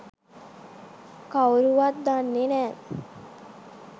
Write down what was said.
කවුරුවත් දන්නෙ නෑ.